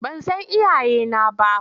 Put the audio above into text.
Ban san iyayena ba.